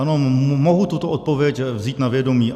Ano, mohu tuto odpověď vzít na vědomí.